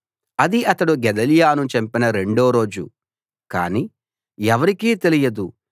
అది అతడు గెదల్యాను చంపిన రెండో రోజు కానీ ఎవరికీ తెలియదు